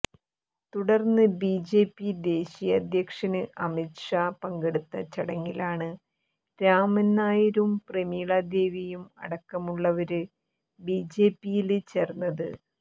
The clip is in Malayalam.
തുടര്ന്ന് ബിജെപി ദേശിയ അധ്യക്ഷന് അമിത് ഷാ പങ്കെടുത്ത ചടങ്ങിലാണ് രാമന് നായരും പ്രമീള ദേവിയും അടക്കമുള്ളവര് ബിജെപിയില് ചേര്ന്നത്